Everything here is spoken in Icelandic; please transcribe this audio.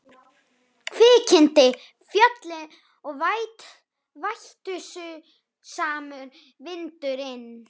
Kviknakin fjöllin og vætusamur vindur- inn.